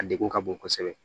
A degun ka bon kosɛbɛ